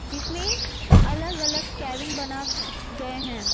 जिसमें अलग-अलग कैबिन बना अ गए हैं।